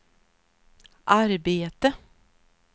arbete